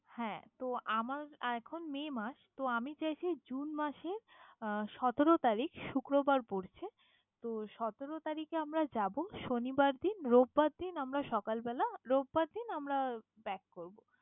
হ্যাঁ তো আমার এখন May মাস। তো আমি চাইছি June মাসে আহ সতেরো তারিখ শুক্রবার পড়ছে, তো সতেরো তারিখে আমরা যাবো শনিবার দিন রবিবার দিন আমরা সকালবেলা, রবিবার দিন আমরা back করবো।